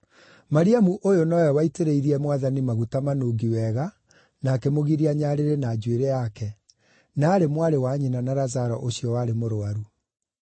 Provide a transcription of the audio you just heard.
Mariamu ũyũ nowe waitĩrĩirie Mwathani maguta manungi wega na akĩmũgiria nyarĩrĩ na njuĩrĩ yake, na aarĩ mwarĩ wa nyina na Lazaro ũcio warĩ mũrũaru.